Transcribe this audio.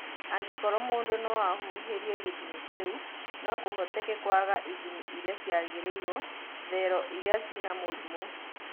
Angĩkorwo mũndũ no-ahuhĩrie gĩthimiinĩ kĩu, no-kũhoteke kũaga ithimi iria ciagĩrĩirwo thero iria ciĩna mũrimũ.